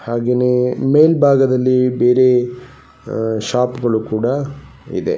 ಹಾಗೇನೇ ಮೇಲ ಭಾಗದಲ್ಲಿ ಬೇರೆ ಅಹ್ ಶಾಪ್ಗಳು-- ಕೂಡ ಇದೆ.